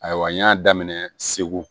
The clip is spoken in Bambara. Ayiwa n y'a daminɛ segu